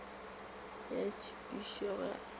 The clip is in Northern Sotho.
ya thupišo ge o ka